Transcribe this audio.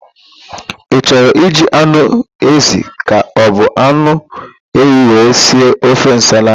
Ị chọrọ iji anụ ézì ka ọbụ anụ ewu wee si ofe nsala a?